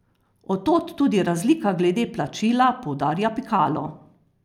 Od tod tudi razlika glede plačila, poudarja Pikalo.